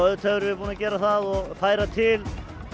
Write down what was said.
auðvitað erum við búin að gera það og færa til